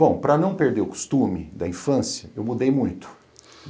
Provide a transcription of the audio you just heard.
Bom, para não perder o costume da infância, eu mudei muito.